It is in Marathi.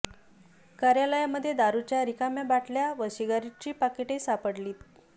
कार्यालयांमध्ये दारुच्या रिकाम्या बाटल्या व सिगारेटची पाकिटे सापडलीत